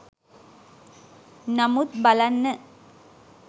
නමුත් බලන්න